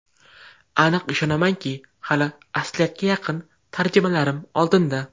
Aniq ishonamanki, hali asliyatga yaqin tarjimalarim oldinda.